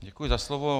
Děkuji za slovo.